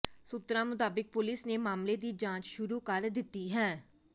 ਸੂਤਰਾਂ ਮੁਤਾਬਕ ਪੁਲਿਸ ਨੇ ਮਾਮਲੇ ਦੀ ਜਾਂਚ ਸ਼ੁਰੂ ਕਰ ਦਿੱਤੀ ਹੈ